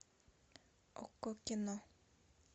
окко кино